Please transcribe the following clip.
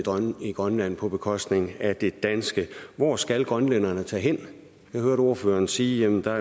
i grønland på bekostning af det danske hvor skal grønlænderne tage hen jeg hørte ordføreren sige at der